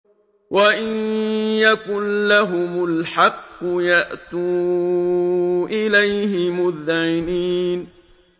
وَإِن يَكُن لَّهُمُ الْحَقُّ يَأْتُوا إِلَيْهِ مُذْعِنِينَ